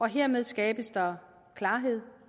hermed skabes der klarhed